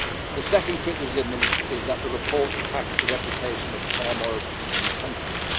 The second criticism is that the report attacks the reputation of palm oil producing countries.